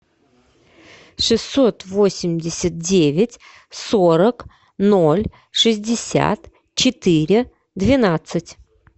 шестьсот восемьдесят девять сорок ноль шестьдесят четыре двенадцать